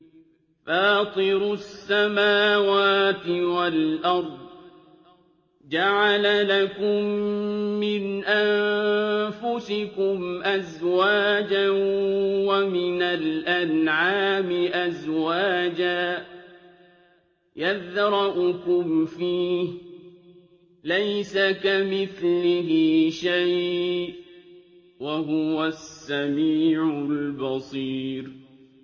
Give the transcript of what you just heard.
فَاطِرُ السَّمَاوَاتِ وَالْأَرْضِ ۚ جَعَلَ لَكُم مِّنْ أَنفُسِكُمْ أَزْوَاجًا وَمِنَ الْأَنْعَامِ أَزْوَاجًا ۖ يَذْرَؤُكُمْ فِيهِ ۚ لَيْسَ كَمِثْلِهِ شَيْءٌ ۖ وَهُوَ السَّمِيعُ الْبَصِيرُ